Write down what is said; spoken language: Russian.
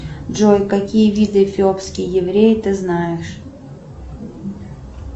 джой какие виды эфиопские евреи ты знаешь